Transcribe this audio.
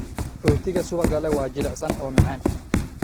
Rootiga subagga leh waa jilicsan oo macaan.